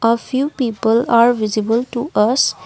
a few people are visible to us.